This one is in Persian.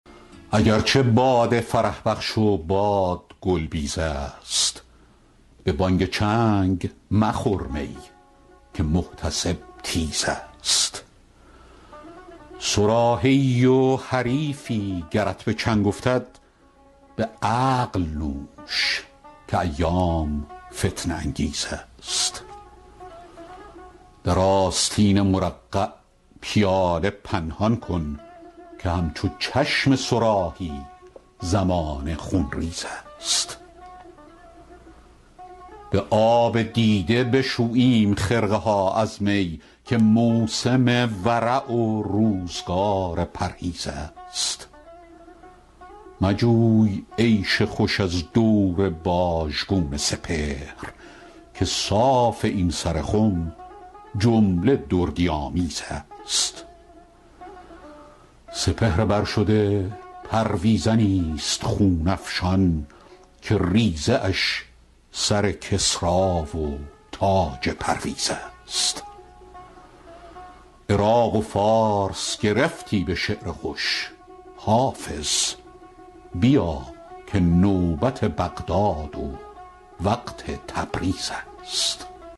اگر چه باده فرح بخش و باد گل بیز است به بانگ چنگ مخور می که محتسب تیز است صراحی ای و حریفی گرت به چنگ افتد به عقل نوش که ایام فتنه انگیز است در آستین مرقع پیاله پنهان کن که همچو چشم صراحی زمانه خونریز است به آب دیده بشوییم خرقه ها از می که موسم ورع و روزگار پرهیز است مجوی عیش خوش از دور باژگون سپهر که صاف این سر خم جمله دردی آمیز است سپهر بر شده پرویزنی ست خون افشان که ریزه اش سر کسری و تاج پرویز است عراق و فارس گرفتی به شعر خوش حافظ بیا که نوبت بغداد و وقت تبریز است